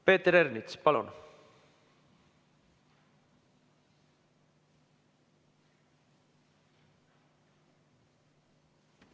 Peeter Ernits, palun!